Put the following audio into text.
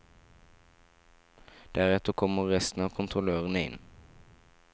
Deretter kommer resten av kontrollørene inn.